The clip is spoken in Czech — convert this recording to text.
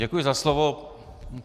Děkuji za slovo.